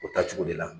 O taa cogo de la